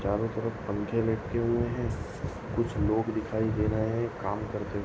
चारों तरफ पंखे लटके हुए है कुछ लोग दिखाई दे रहे है काम करते हुए।